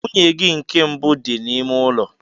Nwunye gị nke mbụ dị n'ime ụlọ.